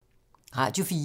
Radio 4